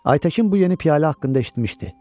Aytəkin bu yeni piyalə haqqında eşitmişdi.